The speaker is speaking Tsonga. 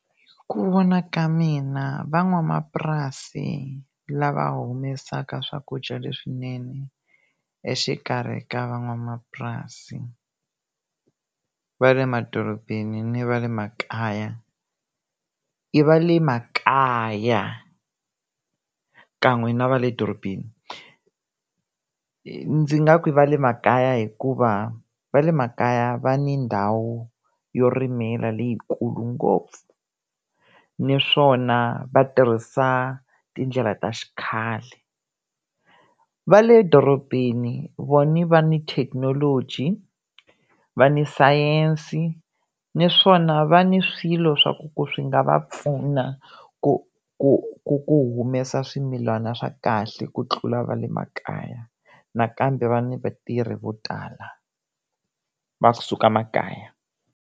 Hi ku vona ka mina van'wamapurasi lava humesaka swakudya leswinene, exikarhi ka van'wamapurasi va le madorobeni ni va le makaya i va le makaya, kan'we na va le dorobeni. Ndzi nga ku va le makaya hikuva va le makaya va ni ndhawu yo rimeka leyikulu ngopfu, naswona va tirhisa tindlela ta xikhale. Va le dorobeni vona va ni thekinoloji va ni science naswona va ni swilo swa ku swi nga va pfuna ku ku ku ku humesa swimilana swa kahle, ku tlula va le makaya nakambe va ni vatirhi vo tala va suka makaya.